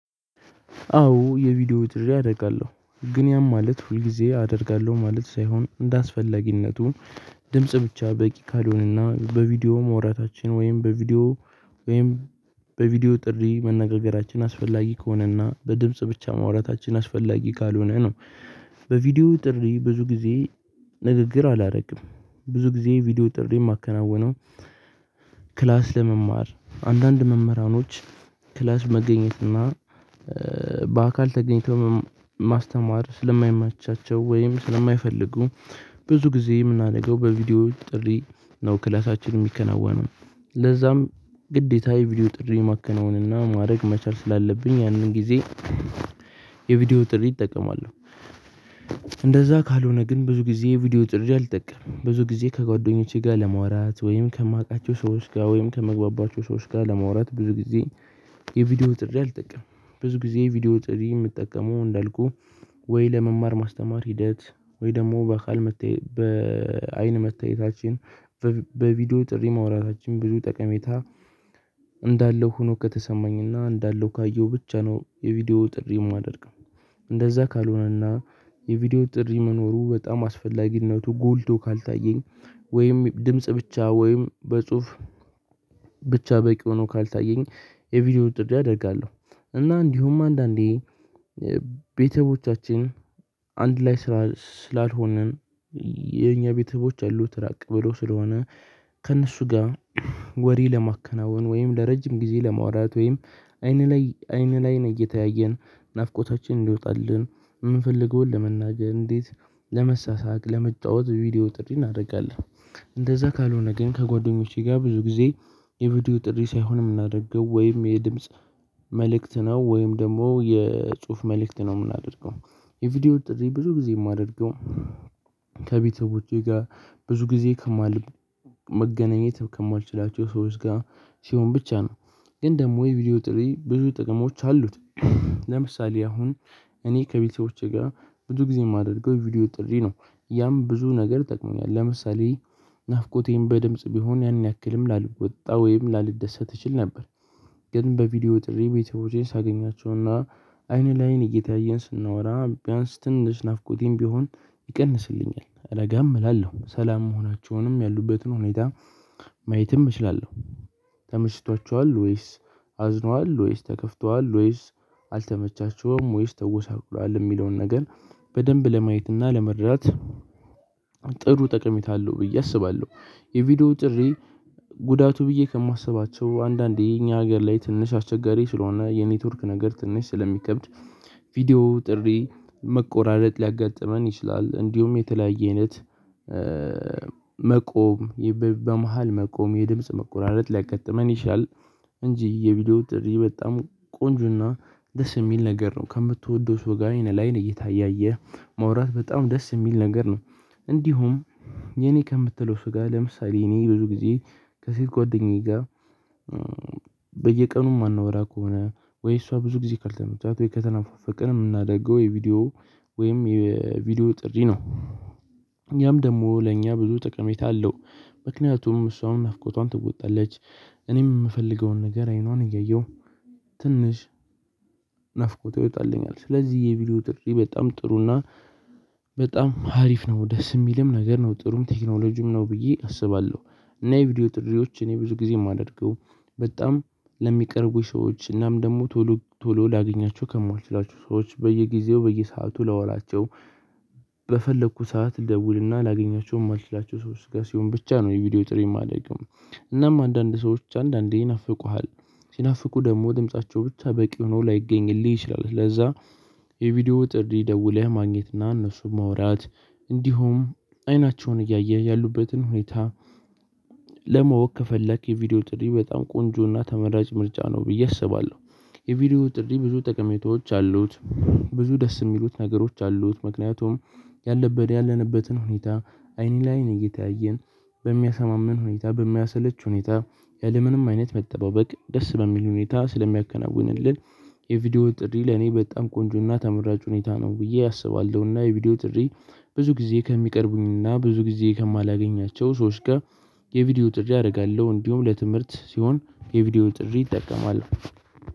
አዎ የቪዲዮ ጥሪ አደርጋለሁ ግን ያም ማለት ሁል ጊዜ አደርጋለሁ ማለት ሳይሆን እንደአስፈላጊነቱ ድምጽ ብቻ በቂ ካልሆነና በቪዲዮ ማውራታችን ወይም በቪዲዮ ወይም በቪዲዮ ጥሪ መነጋገራችን አስፈላጊ ከሆነና በድምጽ ብቻ ማውራታችን አስፈላጊ ካልሆነ ነው። በቪዲዮ ጥሪ ብዙ ጊዜ ንግግር አላደርግም ብዙ ጊዜ ቪዲዮ ጥሪ የማከናውነው። ለመማር አንዳንድ መምህራኖች ክላስ መገኘት እና በአካል ተገኝተው ማስተማር ስለማይማቻቸው ወይም ስለማይፈልጉ ብዙ ጊዜ የምናደርገው በቪዲዮ ጥሪ ነው ክላሳችን የሚከናወነው ለዛም ግዴታ የቪዲዮ ጥሪ ማከናወንና ማድረግ መቻል ስላለብኝ ያንን ጊዜ የቪዲዮ ጥሪ እጠቀማለሁ። ካልሆነ ግን ብዙ ጊዜ ቪዲዮ ጥርጅት አልጠቀምም ብዙ ጊዜ ከጓደኞቼ ጋር ለመዋራት ወይም ከማውቃቸው ሰዎች ጋር ወይም ከመግባባቸው ሰዎች ጋር ለማውራት ብዙ ጊዜ የቪዲዮ ጥሪ አልጠቀምም። ብዙ ጊዜ የቪዲዮ ጥሪ የምጠቀመው እንዳልኩህ። ወይ ለመማር ማስተማር ሂደት ወይ ደግሞ በአካል በአይን መታየታችን በቪዲዮ ጥሪ ማውራታችን ብዙ ጠቀሜታ እንዳለው ሆኖ ከተሰማኝና እንዳለው ካየሁ ብቻ ነው የቪዲዮ ጥሪ የማደርግ። እንደዛ ካልሆነና የቪዲዮ ጥሪ መኖሩ በጣም አስፈላጊነቱ ጎልቶ ካልታየኝ ወይም ድምጽ ብቻ ወይም በጽሁፍ ብቻ በቂ ሆኖ ካልታየኝ የቪዲዮ ጥሪ አደርጋለሁ። እና እንዲሁም አንዳንዴ ቤተሰቦቻችን አንድ ላይ ስላልሆንን የኛ ቤተሰቦች ያሉት ራቅ ብሎ ስለሆነ ከእነሱ ጋር ወሬ ለማከናወን ወይም ለረጅም ጊዜ ለማውራት ወይም አይን ለ አይን እየተያየን ናፍቆታችን እንዲወጣልን የምንፈልገውን ለመናገር እንዴት ለመሳሳቅ ለመጫወት ቪዲዮ ጥሪ እናደርጋለን። እንደዛ ካልሆነ ግን ከጓደኞቼ ጋር ብዙ ጊዜ የቪዲዮ ጥሪ ሳይሆን የምናደርገው ወይም የድምጽ መልእክት ነው ወይም ደግሞ የጽሁፍ መልእክት ነው የምናደርገው። የቪዲዮ ጥሪ ብዙ ጊዜ የማደርገው። ከቤተሰቦቼ ጋር ብዙ ጊዜ ከማል መገናኘት ከማልችላቸው ሰዎች ጋር ሲሆን ብቻ ነው። ግን ደግሞ የቪዲዮ ጥሪ ብዙ ጥቅሞች አሉት። ለምሳሌ አሁን እኔ ከቤተሰቦቼ ጋር ብዙ ጊዜ የማደርገው ቪዲዮ ጥሪ ነው። ያም ብዙ ነገር ጠቅሞኛል ለምሳሌ ናፍቆቴን በድምጽ ቢሆን ያን ያክልም ላልወጣ ወይም ላልደሰት እችል ነበር። ግን በቪዲዮ ጥሪ ቤተሰቦቼን ሳገኛቸውና አይን ለአይን እየተያየን ስናወራ ቢያንስ ትንሽ ናፍቆቴም ቢሆን ይቀንስልኛል እረጋም እላለሁ ሰላም መሆናቸውንም ያሉበትን ሁኔታ ማየትም እችላለሁ። ተመቸቷቸዋል ወይስ አዝኗል ወይስ ተከፍቷል ወይስ አልተመቻችውም ወይስ ተጎሳቁሏል የሚለውን ነገር በደንብ ለማየትና ለመድራት ጥሩ ጠቀሚታ አለው ብዬ አስባለሁ። የቪዲዮ ጥሪ ጉዳቱ ብዬ ከማስባቸው አንዳንዴ እኛ ሀገር ላይ ትንሽ አስቸጋሪ ስለሆነ የኔትወርክ ነገር ትንሽ ስለሚከብድ ቪዲዮ ጥሪ መቆራረጥ ሊያጋጥመን ይችላል። እንዲሁም የተለያየ አይነት መቆም በመሃል መቆም የድምጽ መቆራረጥ ሊያጋጥመን ይሻል እንጂ የቪዲዮ ጥሪ በጣም ቆንጆና ደስ የሚል ነገር ነው። ከምትወደው ሰው ጋር አይን ለ አይን እየተያየህ ማውራት በጣም ደስ የሚል ነገር ነው። እንዲሁም የኔ ከምትለው ስጋ ለምሳሌ እኔ ብዙ ጊዜ ከሴት ጓደኛዬ ጋር በየቀኑ የማናወራ ከሆነ ወይ እሷ ብዙ ጊዜ ካልተመቻት ወይ ከተናፋፈቅን የምናደርገው የቪዲዮ ወይም የቪዲዮ ጥሪ ነው። ያም ደግሞ ለእኛ ብዙ ጠቀሜታ አለው። ምክንያቱም እሷም ናፍቆቷን ትወጣለች እኔም የምፈልገውን ነገር አይኗን እያየሁ ትንሽ ናፍቆቷ ይወጣልኛል። ስለዚህ የቪዲዮ ጥሪ በጣም ጥሩና በጣም አሪፍ ነው ደስ የሚልም ነገር ነው ጥሩም ቴክኖሎጂም ነው ብዬ አስባለሁ። እና የቪዲዮ ጥሪዎች እኔ ብዙ ጊዜ የማደርገው በጣም ለሚቀርቡኝ ሰዎች እናም ደግሞ ቶሎ ቶሎ ላገኛቸው ከማልችላቸው ሰዎች በየጊዜው በየሰአቱ ላወራቸው በፈለኩ ሰዓት ልደውልና ላገኛችሁ የማልችላቸው ሰዎች ጋር ሲሆን ብቻ ነው የቪዲዮ ጥሪ ማደርገው። እናም አንዳንድ ሰዎች አንዳንዴ ይናፍቁሃል ሲናፍቁ ደግሞ ድምፃቸው ብቻ በቂ ሆኖ ላይገኝልህ ይችላል። ለዛ የቪዲዮ ጥሪ ደውለህ ማግኘትና እነሱን ማውራት እንዲሁም አይናቸውን እያየ ያሉበትን ሁኔታ ለማወቅ ከፈለክ የቪዲዮ ጥሪ በጣም ቆንጆና ተመራጭ ምርጫ ነው ብዬ አስባለሁ። የቪዲዮ ጥሪ ብዙ ጠቀሜታዎች አሉት። ብዙ ደስ የሚሉት ነገሮች አሉት ምክንያቱም ያለንበትን ሁኔታ አይን ላይን እየተያየን በሚያሰማምን ሁኔታ በማያሰለች ሁኔታ ያለምንም አይነት መጠባበቅ ደስ በሚል ሁኔታ ስለሚያከናውንልን የቪዲዮ ጥሪ ለኔ በጣም ቆንጆና ተመራጭ ሁኔታ ነው። ብዬ አስባለሁና የቪዲዮ ጥሪ ብዙ ጊዜ ከሚቀርቡኝና ብዙ ጊዜ ከማላገኛቸው ሰዎች ጋር የቪዲዮ ጥሪ አደርጋለሁ። እንዲሁም ለትምህርት ሲሆን የቪዲዮ ጥሪ እጠቀማለሁ።